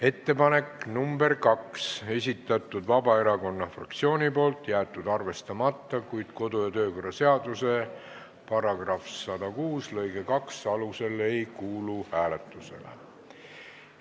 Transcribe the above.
Ettepanek nr 2, esitanud Vabaerakonna fraktsioon, jäetud arvestamata ning kodu- ja töökorra seaduse § 106 lõike 2 alusel ei kuulu see hääletamisele.